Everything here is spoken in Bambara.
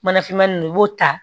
Mana finmani nunnu i b'o ta